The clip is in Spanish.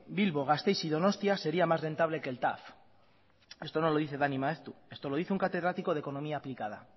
bilbo gasteiz y donostia sería más rentable que el tav eso no lo dice dani maeztu esto lo dice un catedrático de economía aplicada